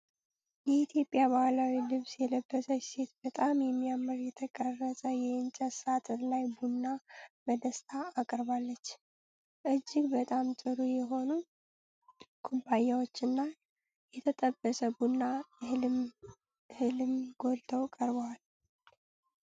የኢትዮጵያን ባህላዊ ልብስ የለበሰች ሴት በጣም በሚያምር የተቀረጸ የእንጨት ሳጥን ላይ ቡና በደስታ አቅርባለች። እጅግ በጣም ጥሩ የሆኑ ኩባያዎችና የተጠበሰ ቡና እህልም ጎልተው ቀርበዋል።